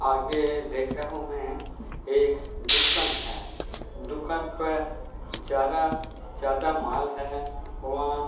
आगे देख रहा हूं मैं यह एक दुकान हैं| दुकान पे ज्यादा-ज्यादा माल हैं। वहां--